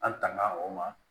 An tanga o ma